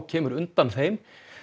kemur undan þeim